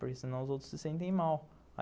Porque senão os outros se sentem mal.